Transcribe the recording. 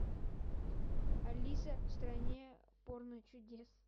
алиса в стране порночудес